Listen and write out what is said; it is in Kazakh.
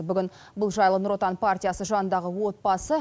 бүгін бұл жайлы нұр отан партиясы жанындағы отбасы